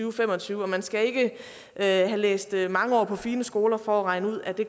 og fem og tyve og man skal ikke have læst mange år på fine skoler for at regne ud at det